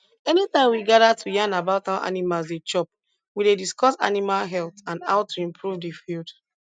anytime we gather to yarn about how animals dey chop we dey discuss animal health and how to improve the field